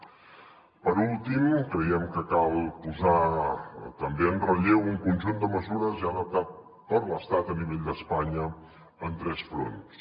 per últim creiem que cal posar també en relleu un conjunt de mesures ja adoptades per l’estat a nivell d’espanya en tres fronts